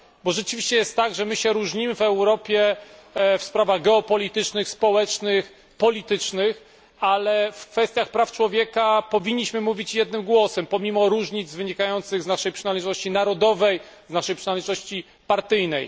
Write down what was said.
Rzeczywiście jest tak, że różnimy się w Europie w sprawach geopolitycznych, społecznych, politycznych, ale w kwestiach praw człowieka powinniśmy mówić jednym głosem, pomimo różnic wynikających z naszej przynależności narodowej czy z naszej przynależności partyjnej.